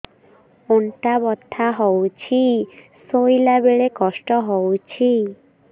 ଅଣ୍ଟା ବଥା ହଉଛି ଶୋଇଲା ବେଳେ କଷ୍ଟ ହଉଛି